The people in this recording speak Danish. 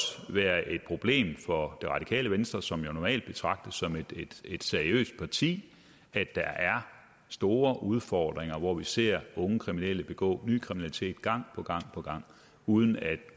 være et problem for det radikale venstre som jo normalt betragtes som et seriøst parti at der er store udfordringer hvor vi ser unge kriminelle begå ny kriminalitet gang på gang uden at